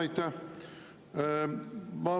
Aitäh!